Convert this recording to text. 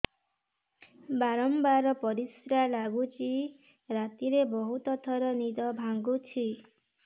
ବାରମ୍ବାର ପରିଶ୍ରା ଲାଗୁଚି ରାତିରେ ବହୁତ ଥର ନିଦ ଭାଙ୍ଗୁଛି